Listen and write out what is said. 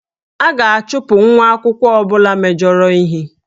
A ga-achụpụ nwa akwụkwọ ọ bụla mejọrọ ihe